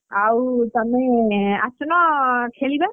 ଆଉ ତମେ ଆସୁନ ଖେଳିବା?